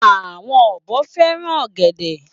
Àwọn ọ̀bọ fẹ́ràn ọ̀gẹ̀dẹ̀.